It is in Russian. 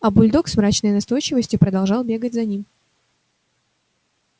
а бульдог с мрачной настойчивостью продолжал бегать за ним